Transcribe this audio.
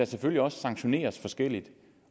selvfølgelig også sanktioneres forskelligt